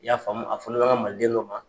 I y'a faamu a furulen bɛ an ka maliden dɔ ma.